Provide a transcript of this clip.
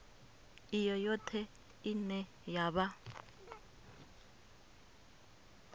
i yoṱhe ine ya vha